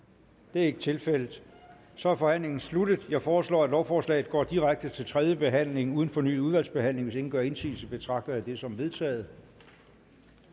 det er ikke tilfældet så er forhandlingen sluttet jeg foreslår at lovforslaget går direkte til tredje behandling uden fornyet udvalgsbehandling hvis ingen gør indsigelse betragter jeg det som vedtaget